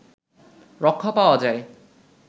রক্ষা পাওয়া যায়